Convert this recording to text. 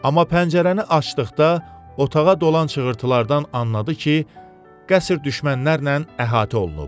Amma pəncərəni açdıqda otağa dolan çığırltılardan anladı ki, qəsr düşmənlərlə əhatə olunub.